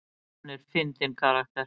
Hann er fyndinn karakter.